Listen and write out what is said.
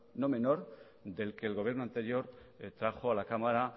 no menor del que el gobierno anterior trajo a la cámara